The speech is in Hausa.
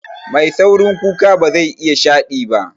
Mai saurin kuka bazai iya shaɗi ba